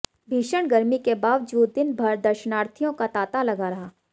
भीषण गर्मी के बावजूद दिनभर दर्शनार्थियों का तांता लगा रहा